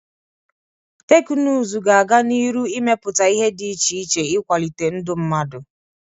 Teknụzụ ga-aga n'iru imepụta ihe dị iche iche ịkwalite ndụ mmadụ.